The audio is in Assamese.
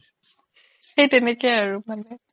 সেই তেনেকেই আৰু মানে